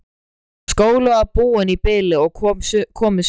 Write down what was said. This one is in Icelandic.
Skólinn var búinn í bili og komið sumarfrí.